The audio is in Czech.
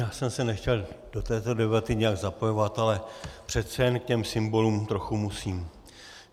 Já jsem se nechtěl do této debaty nijak zapojovat, ale přece jen k těm symbolům trochu musím.